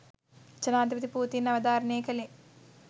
ජනාධිපති පූතින් අවධාරණය කළේ